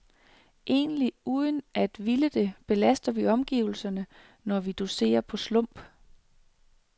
Egentlig uden at ville det belaster vi omgivelserne, når vi doserer på slump.